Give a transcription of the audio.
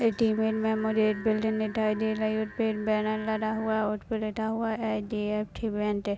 इस इमेज मे मुझे एक बिल्डिंग दिखाई दे रही है उसपे एक बैनर लगा हुआ है उसपे लिखा हुआ है H D F C bank.